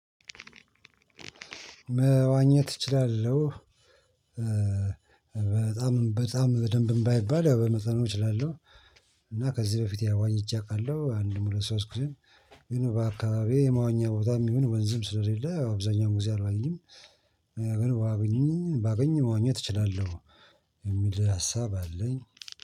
መዋኘት እችላለሁ። በጣም በጣም በደንብም ባይባል ያው በመጠኑ እችላለሁ። እና ከዚህ በፊት ያው ዋኝቼ እውቃለሁ አንድም ሁለት ሶስት ጊዜ። ግን በአካባቢዬ የመዋኛ ቦታም ይሁን ወንዝም ስለሌለ አብዛኛው ጊዜ አልዋኝም። ግን ባገኘኝ ባገኘኝ መዋኘት እችላለሁ። የሚል ሀሳብ አለኝ